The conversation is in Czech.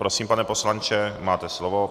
Prosím, pane poslanče, máte slovo.